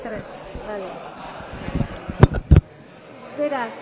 el tres vale beraz